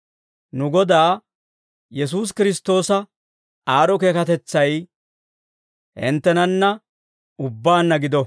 Nu Godaa Yesuusi Kiristtoosa aad'd'o keekatetsay hinttenanna ubbaanna gido.